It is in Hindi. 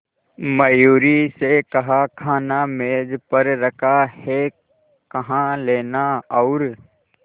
मयूरी से कहा खाना मेज पर रखा है कहा लेना और